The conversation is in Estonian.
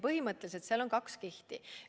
Põhimõtteliselt seal on kaks kihti.